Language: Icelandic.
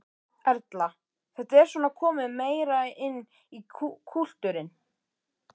Erla: Þetta er svona komið meira inn í kúltúrinn?